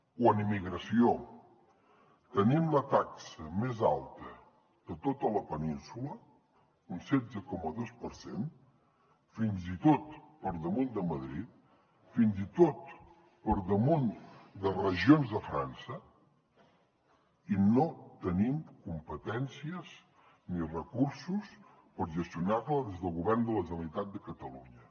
o en immigració tenim la taxa més alta de tota la península un setze coma dos per cent fins i tot per damunt de madrid fins i tot per damunt de regions de frança i no tenim competències ni recursos per gestionar la des del govern de la generalitat de catalunya